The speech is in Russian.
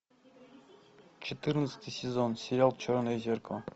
четырнадцатый сезон сериал черное зеркало